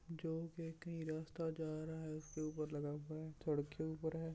जो एक ही रास्ता जा रहा है उसके ऊपर लगा हुआ है सड़क के ऊपर है।